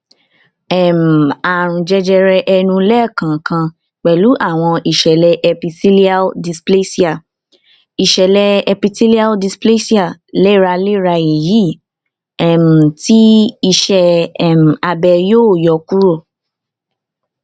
um àrùn jẹjẹrẹ ẹnu lẹẹkọọkan pẹlú àwọn ìṣẹlẹ epithelial dysplasia ìṣẹlẹ epithelial dysplasia léraléra èyí um tí iṣẹ um abẹ yọ kúrò